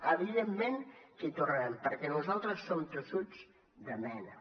evidentment que hi tornarem perquè nosaltres som tossuts de mena